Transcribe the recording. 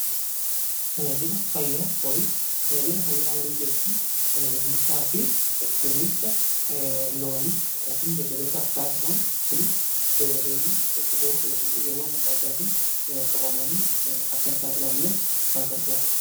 Tajaajila fayyaa horii jechuun egumsaa fi kunumsa loonif beeladootaaf taasifamu. Kunis beeladoonni dhukkuboota yookiin dhibeewwan adda addaatiin qabamanii akka hin saaxilamneef kan gargaarudha.